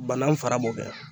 Banan fara b'o kɛ